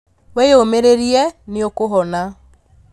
Wĩyũmĩrĩrie nĩũkũhona